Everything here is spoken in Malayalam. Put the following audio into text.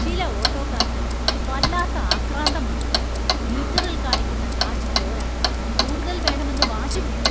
ചില ഓട്ടോക്കാര്‍ക്ക് വല്ലാത്ത ആക്രാന്തമാണ്, മീറ്ററില്‍ കാണിക്കുന്ന കാശ് പോര, കൂടുതല്‍ വേണമെന്ന് വാശിപിടിക്കും.